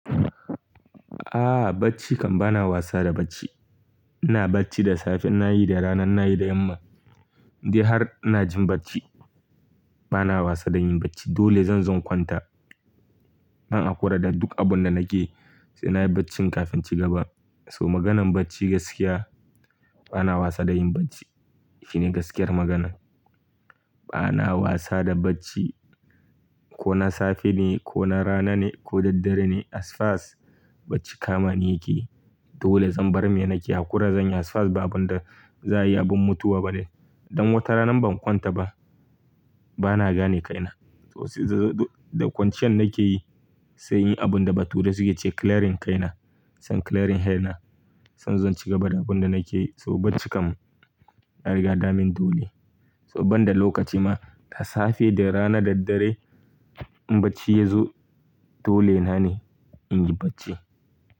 Aaa bacci kam bana wasa da bacci. Ina bacci da safe ina yi da rana ina yi da yamma. Inde har ina jin bacci bana wasa da yin bacci dole zan zo in kwanta. Zan hakura da duk abun da nake sai nayi baccin kafin in cigaba. So maganar bacci gaskiya bana wasa da yin bacci. Fine gaskiyar maganan. Bana wasa da bacci ko na safe ne ko na rana ne ko daddare ne as far as bacci kama ni yake yi. Dole zan bar me nake hakura zanyi as far as babu da za ayi abun mutuwa bane. Dan wata rana ban kwanta ba bana gane kaina. Da kwanciyar nake yi sai yin abun da bature sai yace clearing kaina. Son clearing hair na. Sai in zo na cigaba da abun da nake yi so bacci kam na riga damin dole. To banda lokaci ma da safe da rana daddare in bacci yazo dole na ne in yi bacci.